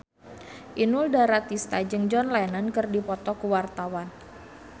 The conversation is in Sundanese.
Inul Daratista jeung John Lennon keur dipoto ku wartawan